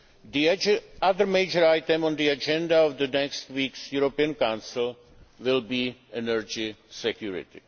The other major item on the agenda of next week's European Council will be energy